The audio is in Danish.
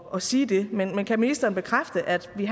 og sige det men kan ministeren bekræfte at vi